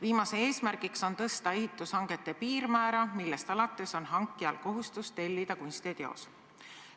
Viimase eesmärk on tõsta ehitushangete piirmäära, millest alates on hankijal kohustus tellida kunstiteos.